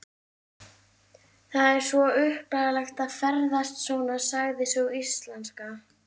Það er svo upplagt að ferðast svona, sagði sú íslenska.